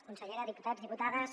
consellera diputats diputades